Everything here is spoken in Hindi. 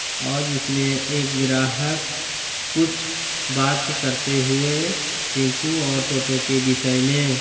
--ओर जिसमें एक ग्राहक कुछ बात करते हुए टेम्पू ओर टोटो के बिषय में।